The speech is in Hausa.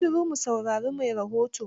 Yi shiru mu saurari mai rahoton.